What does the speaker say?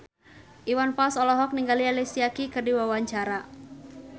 Iwan Fals olohok ningali Alicia Keys keur diwawancara